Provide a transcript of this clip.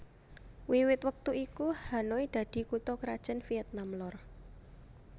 Wiwit wektu iku Hanoi dadi kutha krajan Vietnam Lor